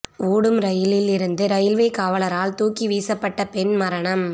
ஓடும் ரயிலில் இருந்து ரயில்வே காவலரால் தூக்கி வீசப்பட்ட பெண் மரணம்